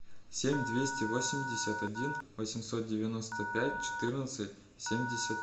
семь двести восемьдесят один восемьсот девяносто пять четырнадцать семьдесят